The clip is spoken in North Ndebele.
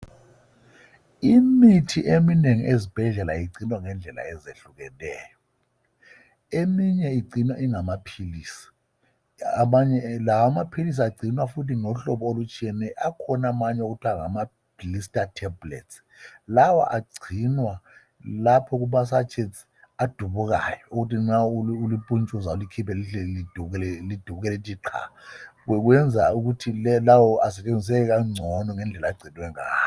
Imithi eminengi ezibhedlela igcinwa ngendlela ezehlukeneyo, eminye igcinwa ingamaphilisi amanye lawo amaphilisi agcinwa ngahlobo olutshiyeneyo, akhona amanye okuthiwa ngama Blister tablets, lawa agcinwa lapho kuma sachets adubukayo ukuthi nxa ulipuntshuza ulikhiphe lihle lidubuke lithi qha kwenza ukuthi lawo asebenziseke kangcono ngendlela agcinwe ngayo